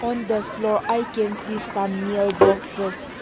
on the floor i can see some nail boxes.